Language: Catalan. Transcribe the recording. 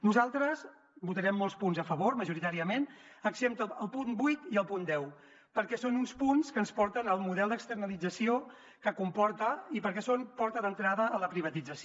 nosaltres votarem molts punts a favor majoritàriament excepte el punt vuit i el punt deu perquè són uns punts que ens porten al model d’externalització que comporta i perquè són porta d’entrada a la privatització